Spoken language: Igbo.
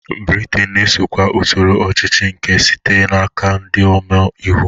Britain na-esokwa usoro ọchịchị nke sitere n'aka ndị ome iwu.